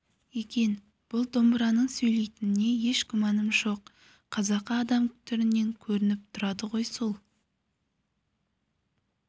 екен бұл домбыраның сөйлейтініне еш күмәнім болған жоқ қазақы адам түрінен көрініп тұрады ғой сол